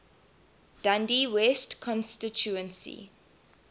dundee west constituency